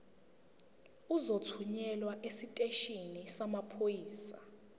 uzothunyelwa esiteshini samaphoyisa